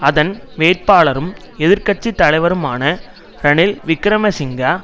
அதன் வேட்பாளரும் எதிர் கட்சி தலைவருமான ரணில் விக்கிரமசிங்க